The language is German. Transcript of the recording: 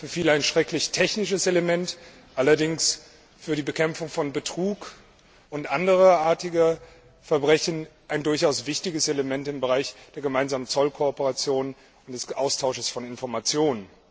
Für viele ein schrecklich technisches Thema, allerdings für die Bekämpfung von Betrug und andersartigen Verbrechen ein durchaus wichtiges Element im Bereich der Zollkooperation und des Austausches von Informationen.